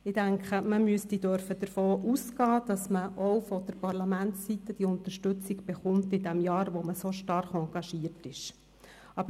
Ich denke, man müsste eigentlich davon ausgehen dürfen, dass man auch von Parlamentsseite her in dem Jahr, in dem man so stark engagiert ist, Unterstützung bekommt.